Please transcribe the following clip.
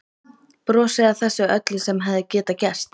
Brosi að þessu öllu sem hefði getað gerst.